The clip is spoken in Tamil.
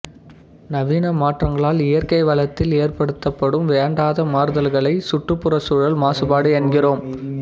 நவீன மாற்றங்களால் இயற்கை வளத்தில் ஏற்படுத்தப்படும் வேண்டாத மாறுதல்களை சுற்றுப்புறச்சூழல் மாசுபாடு என்கிறோம்